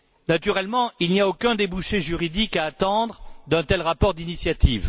Naturellement, il n'y a aucun débouché juridique à attendre d'un tel rapport d'initiative.